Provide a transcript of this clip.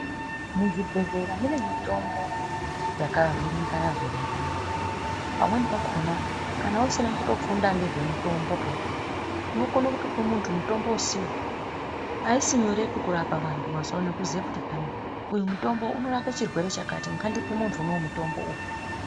Muzvibhedhlera mune mitombo yakavhiringana vhiringana pamweni pakona kana usina kufunda nezvemitombo unokona kutopa muntu mutombo usiwo haisi nyore kurapa nekuziva kuti uyu mutombo unorapa chirwere chakati ngandimbe muntu mutombo uyu.